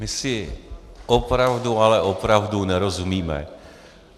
My si opravdu, ale opravdu nerozumíme.